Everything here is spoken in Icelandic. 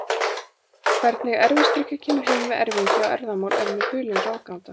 Hvernig erfisdrykkja kemur heim við erfingja og erfðamál er mér hulin ráðgáta.